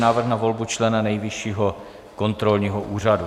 Návrh na volbu člena Nejvyššího kontrolního úřadu